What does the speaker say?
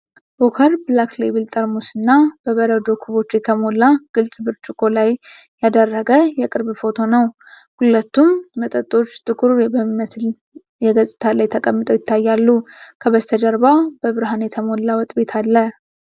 ዎከር ብላክ ሌብል ጠርሙስ እና በበረዶ ኩቦች በተሞላ ግልጽ ብርጭቆ ላይ ያደረገ የቅርብ ፎቶ ነው። ሁለቱም መጠጦች ጥቁር በሚመስል የገጽታ ላይ ተቀምጠው ይታያሉ፤ ከበስተጀርባ በብርሃን የተሞላ ወጥ ቤት አለ።